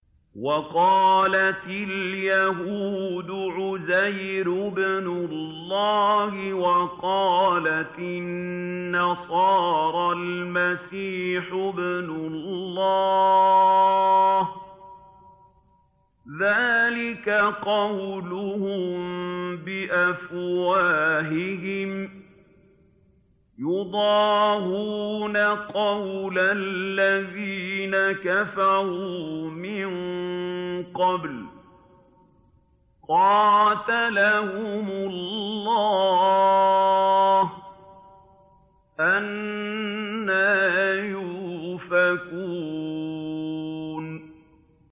وَقَالَتِ الْيَهُودُ عُزَيْرٌ ابْنُ اللَّهِ وَقَالَتِ النَّصَارَى الْمَسِيحُ ابْنُ اللَّهِ ۖ ذَٰلِكَ قَوْلُهُم بِأَفْوَاهِهِمْ ۖ يُضَاهِئُونَ قَوْلَ الَّذِينَ كَفَرُوا مِن قَبْلُ ۚ قَاتَلَهُمُ اللَّهُ ۚ أَنَّىٰ يُؤْفَكُونَ